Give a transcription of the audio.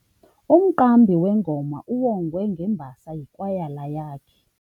Umqambi wengoma uwongwe ngembasa yikwayala yakhe.